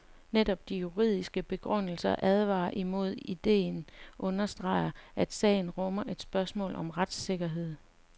Netop de juridisk begrundede advarsler imod idéen understreger, at sagen rummer et spørgsmål om retssikkerhed.